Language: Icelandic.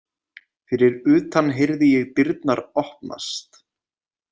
Fyrir utan heyrði ég dyrnar opnast.